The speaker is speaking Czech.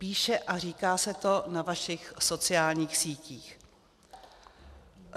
Píše a říká se to na vašich sociálních sítích.